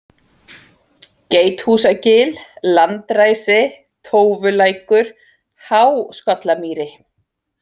Geithúsagil, Landræsi, Tófulækur, Há-Skollamýri